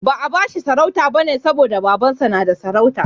Ba'a bashi sarauta bane saboda Babansa yana da sarauta.